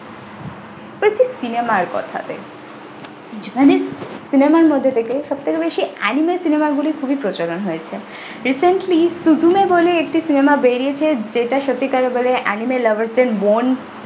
আসছি cinema এর কথাতে japanese cinema এর মধ্যে থেকে সবথেকে বেশি anime cinema গুলি খুবই প্রচলন হয়েছে recently supreme বলে একটি cinema বেরিয়েছে যেটা সত্যিকারের বলে anime lover দের মন।